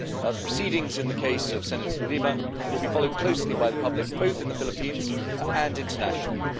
The proceedings in the case of Senator De Lima will be followed closely by the public, both in the Philippines and internationally.